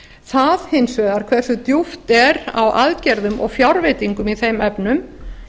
það hins vegar hversu djúpt er á aðgerðum og fjárveitingum í þeim efnum